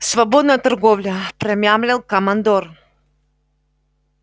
свободная торговля промямлил командор